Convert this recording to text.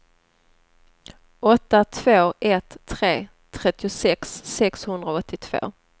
åtta två ett tre trettiosex sexhundraåttiotvå